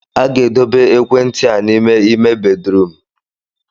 A ga-edobe ekwentị a n'ime ime bedrum